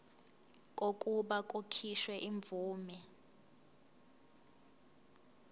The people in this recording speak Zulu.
kokuba kukhishwe imvume